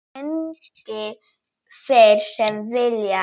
Sprengi þeir sem vilja.